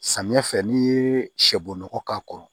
Samiya fɛ n'i ye sɛbon nɔgɔ k'a kɔrɔ